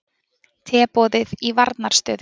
Teboðið í varnarstöðu